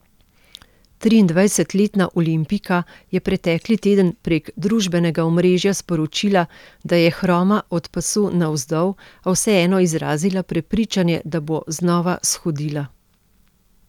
Triindvajsetletna olimpijka je pretekli teden prek družbenega omrežja sporočila, da je hroma od pasu navzdol, a vseeno izrazila prepričanje, da bo znova shodila.